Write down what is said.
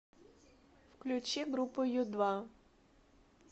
включи группу ю два